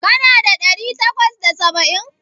Kana da ɗari takwas da saba'in?